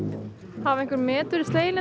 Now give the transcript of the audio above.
hafa einhver met verið slegin